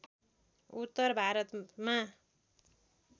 उत्तर भारतमा